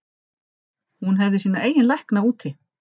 Hún hefði sína eigin lækna úti.